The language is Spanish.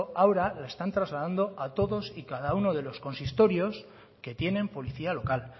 ahora la están trasladando a todos y cada uno de los consistorios que tienen policía local